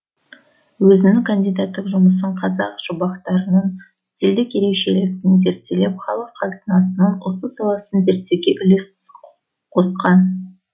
өзінің кандидаттық жұмысын қазақ жұмбақтарының стильдік ерекшелігін зерделеп халық қазынасының осы саласын зерттеуге үлес қосқан